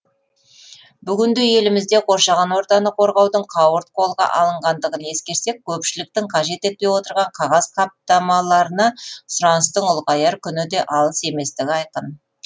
бүгінде елімізде қоршаған ортаны қорғаудың қауырт қолға алынғандығын ескерсек көпшіліктің қажет етпей отырған қағаз қаптамаларына сұраныстың ұлғаяр күні де алыс еместігі айқын